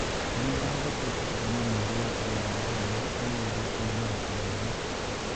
Njane ndathekeete kuuma mweri wa kanana rĩrĩa agĩire kũũmĩra kũnene.